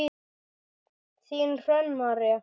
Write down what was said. Þín Hrönn María.